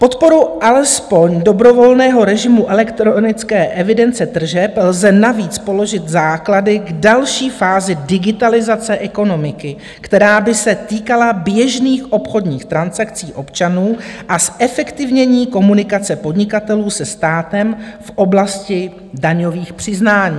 Podporou alespoň dobrovolného režimu elektronické evidence tržeb lze navíc položit základy k další fázi digitalizace ekonomiky, která by se týkala běžných obchodních transakcí občanů, a zefektivnění komunikace podnikatelů se státem v oblasti daňových přiznání.